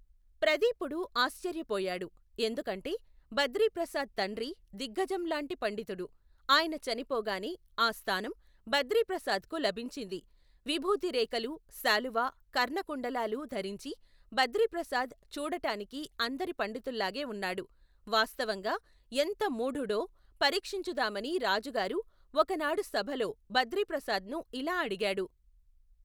ప్రదీపుడు, ఆశ్చర్యపోయాడు, ఎందుకంటే, బద్రీప్రసాద్ తండ్రి, దిగ్గజంలాంటి పండితుడు, ఆయన చనిపోగానే, ఆ స్థానం, బద్రీప్రసాద్ కు లభించింది, విభూతిరేఖలూ, శాలువా, కర్ణకుండలాలు, ధరించి, బద్రిప్రసాద్, చూడటానికి, అందరి పండితుల్లాగే ఉన్నాడు, వాస్తవంగా, ఎంత మూఢుడో, పరీక్షించుదామని, రాజుగారు, ఒకనాడు సభలో, బద్రిప్రసాద్ ను యిలా అడిగాడు.